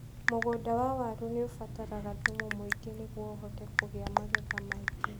Mũgũnda wa waru nĩ ũbataraga thumu mũingĩ nĩguo ũhote kũgĩa magetha maingĩ.